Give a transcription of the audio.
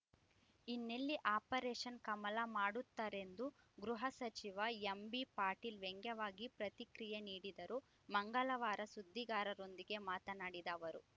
ಇನ್ನೆಲ್ಲಿ ಆಪರೇಷನ್‌ ಕಮಲ ಮಾಡುತ್ತಾರೆಂದು ಗೃಹ ಸಚಿವ ಎಂಬಿ ಪಾಟೀಲ್‌ ವ್ಯಂಗ್ಯವಾಗಿ ಪ್ರತಿಕ್ರಿಯೆ ನೀಡಿದರು ಮಂಗಳವಾರ ಸುದ್ದಿಗಾರರೊಂದಿಗೆ ಮಾತನಾಡಿದ ಅವರು